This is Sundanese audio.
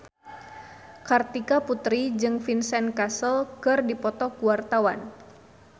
Kartika Putri jeung Vincent Cassel keur dipoto ku wartawan